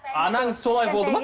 анаңыз солай болды ма